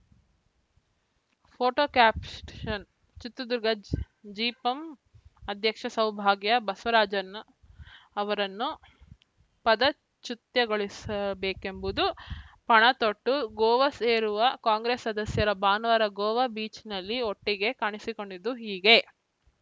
photo captions ನ್‌ ಚಿತ್ರದುರ್ಗ ಜ್ ಜಿಪಂ ಅಧ್ಯಕ್ಷೆ ಸೌಭಾಗ್ಯ ಬಸವರಾಜನ್‌ ಅವರನ್ನು ಪದಚುತ್ಯ ಗೊಳಿಸಲೇಬೇಕೆಂಬುದು ಪಣತೊಟ್ಟು ಗೋವಾ ಸೇರುವ ಕಾಂಗ್ರೆಸ್‌ ಸದಸ್ಯರ ಭಾನುವಾರ ಗೋವಾ ಬೀಚ್‌ನಲ್ಲಿ ಒಟ್ಟಿಗೆ ಕಾಣಿಸಿಕೊಂಡಿದ್ದು ಹೀಗೆ